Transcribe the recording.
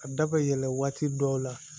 A da bɛ yɛlɛn waati dɔw la